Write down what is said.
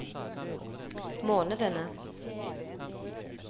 månedene